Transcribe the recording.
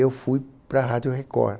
Eu fui para a Rádio Record.